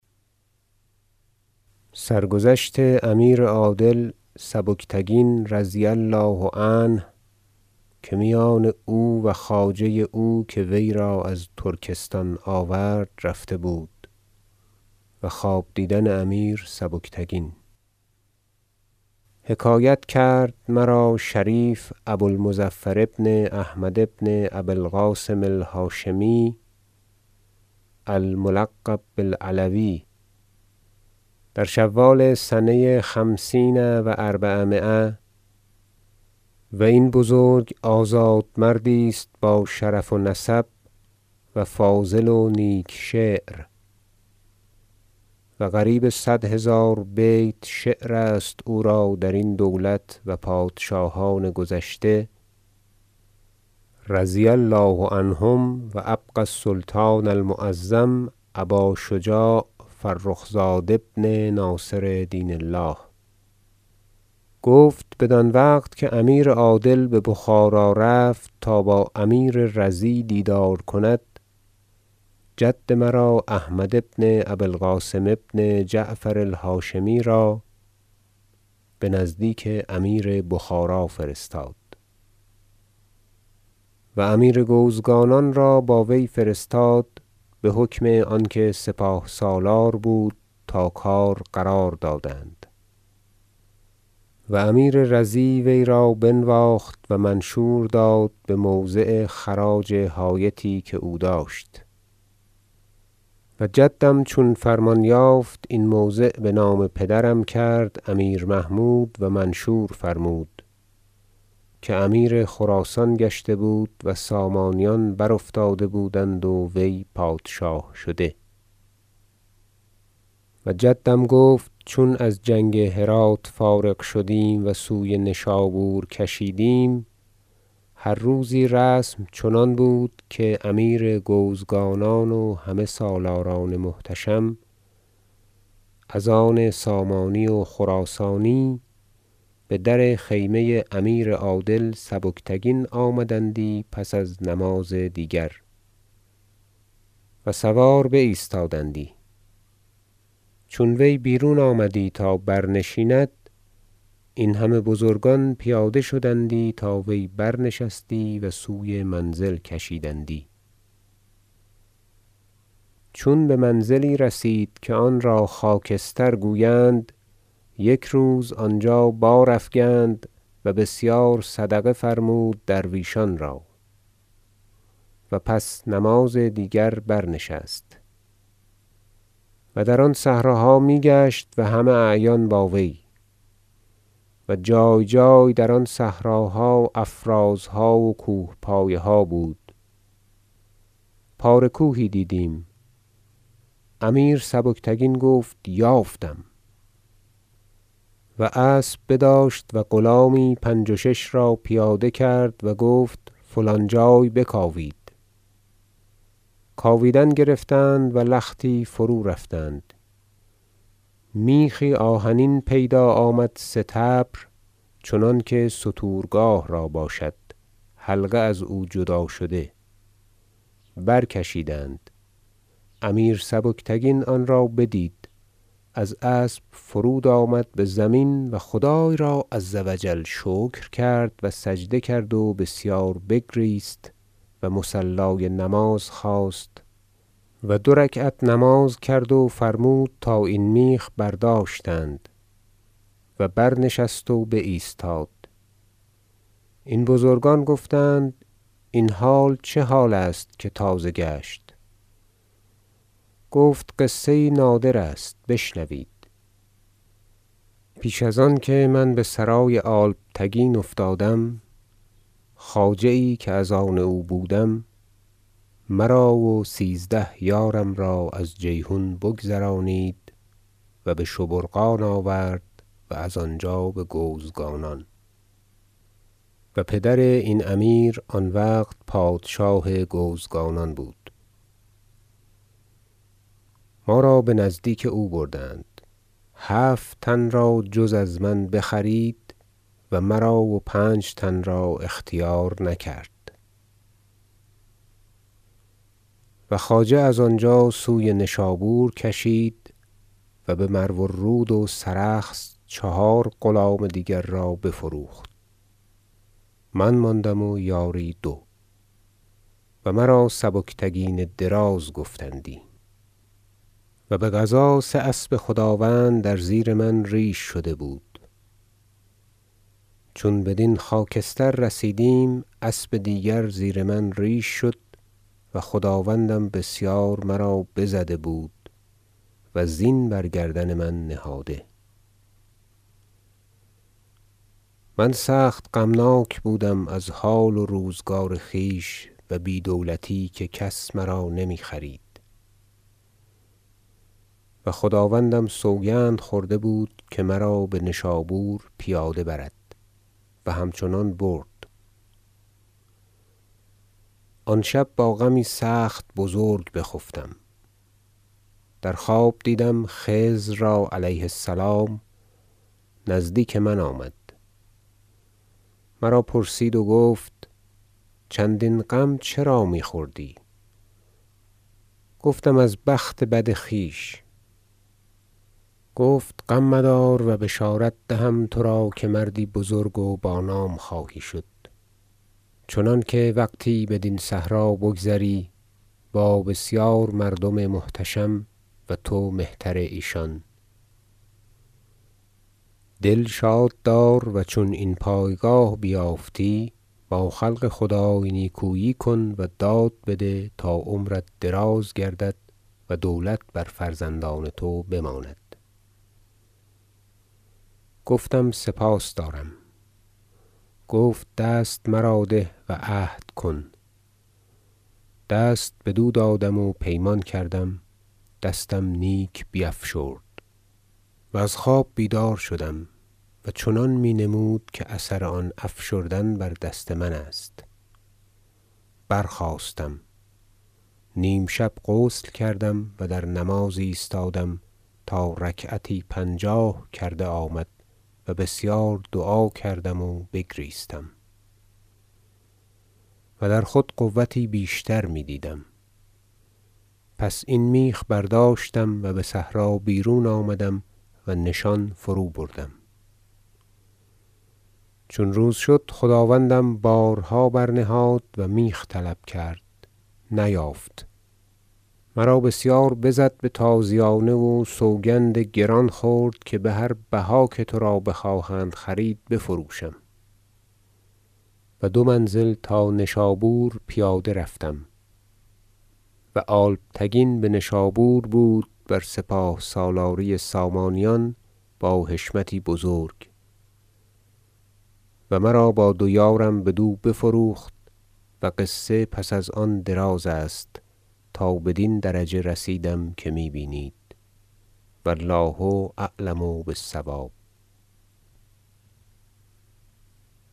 سرگذشت امیر عادل سبکتگین رضی الله عنه که میان او و خواجه او که وی را از ترکستان آورد رفته بود و خواب دیدن امیر سبکتگین حکایت کرد مرا شریف ابو المظفر بن احمد بن ابی القاسم الهاشمی الملقب بالعلوی در شوال سنه خمسین و اربعمایه - و این بزرگ آزاد مردی است باشرف و نسب و فاضل و نیک شعر و قریب صد هزار بیت شعرست او را درین دولت و پادشاهان گذشته رضی الله عنهم و ابقی السلطان المعظم ابا شجاع فرخ زاد ابن ناصر دین الله - گفت بدان وقت که امیر عادل ببخارا رفت تا با امیر رضی دیدار کند جد مرا احمد بن ابی القاسم بن جعفر الهاشمی را بنزدیک امیر بخارا فرستاد و امیر گوزگانان را با وی فرستاد بحکم آنکه سپاه سالار بود تا کار قرار دادند و امیر رضی وی را بنواخت و منشور داد بموضع خراج حایطی که او داشت و جدم چون فرمان یافت این موضع بنام پدرم کرد امیر محمود و منشور فرمود که امیر خراسان گشته بود و سامانیان برافتاده بودند و وی پادشاه شده و جدم گفت چون از جنگ هرات فارغ شدیم و سوی نشابور کشیدیم هر روزی رسم چنان بود که امیر گوزگانان و همه سالاران محتشم از آن سامانی و خراسانی بدر خیمه امیر عادل سبکتگین آمدندی پس از نماز دیگر و سوار بایستادندی چون وی بیرون آمدی تا برنشیند این همه بزرگان پیاده شدندی تا وی برنشستی و سوی منزل کشیدندی چون بمنزلی رسید که آن را خاکستر گویند یک روز آنجا بارافگند و بسیار صدقه فرمود درویشان را و پس از نماز دیگر برنشست و در آن صحراها میگشت و همه اعیان با وی و جای جای در آن صحراها افرازها و کوه پایه ها بود پاره کوهی دیدیم امیر سبکتگین گفت یافتم و اسب بداشت و غلامی پنج و شش را پیاده کرد و گفت فلان جای بکاوید کاویدن گرفتند و لختی فرورفتند میخی آهنین پیدا آمد سطبر چنانکه ستورگاه را باشد حلقه ازو جدا شده برکشیدند امیر سبکتگین آن را بدید از اسب فرود آمد بزمین و خدای را عزوجل شکر کرد و سجده کرد و بسیار بگریست و مصلای نماز خواست و دو رکعت نماز کرد و فرمود تا این میخ برداشتند و برنشست و بایستاد این بزرگان گفتند این حال چه حال است که تازه گشت گفت قصه یی نادر است بشنوید پیش از آنکه من بسرای الپتگین افتادم خواجه یی که از آن او بودم مر او سیزده یارم را از جیحون بگذرانید و به شبرقان آورد و از آنجا بگوزگانان و پدر این امیر آن وقت پادشاه گوزگانان بود ما را بنزدیک او بردند هفت تن را جز از من بخرید و مرا و پنج تن را اختیار نکرد و خواجه از آنجا سوی نشابور کشید و بمرو الروذ و سرخس چهار غلام دیگر را بفروخت من ماندم و یاری دو و مرا سبکتگین دراز گفتندی و بقضا سه اسب خداوند در زیر من ریش شده بود چون بدین خاکستر رسیدیم اسب دیگر زیر من ریش شد و خداوندم بسیار مرا بزده بود و زین بر گردن من نهاده من سخت غمناک بودم از حال و روزگار خویش و بی دولتی که کس مرا نمیخرید و خداوندم سوگند خورده بود که مرا بنشابور پیاده برد و همچنان برد آن شب با غمی سخت بزرگ بخفتم در خواب دیدم خضر را علیه السلام نزدیک من آمد مرا پرسید و گفت چندین غم چرا میخوری گفتم از بخت بد خویش گفت غم مدار و بشارت دهم ترا که مردی بزرگ و بانام خواهی شد چنانکه وقتی بدین صحرا بگذری با بسیار مردم محتشم و تو مهتر ایشان دل شاد دار و چون این پایگاه بیافتی با خلق خدای نیکویی کن و داد بده تا عمرت دراز گردد و دولت بر فرزندان تو بماند گفتم سپاس دارم گفت دست مرا ده و عهد کن دست بدو دادم و پیمان کردم دستم نیک بیفشرد و از خواب بیدار شدم و چنان می نمود که اثر آن افشردن بر دست من است برخاستم نیم شب غسل کردم و در نماز ایستادم تا رکعتی پنجاه کرده آمد و بسیار دعا کردم و بگریستم و در خود قوتی بیشتر می دیدم پس این میخ برداشتم و بصحرا بیرون آمدم و نشان فروبردم چون روز شد خداوندم بارها برنهاد و میخ طلب کرد نیافت مرا بسیار بزد بتازیانه و سوگند گران خورد که بهر بها که ترا بخواهند خرید بفروشم و دو منزل تا نشابور پیاده رفتم و الپتگین بنشابور بود بر سپاه سالاری سامانیان با حشمتی بزرگ و مرا با دو یارم بدو بفروخت و قصه پس از آن دراز است تا بدین درجه رسیدم که می بینید و الله اعلم بالصواب